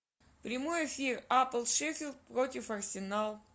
прямой эфир апл шеффилд против арсенал